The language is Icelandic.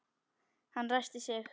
Hann ræskti sig.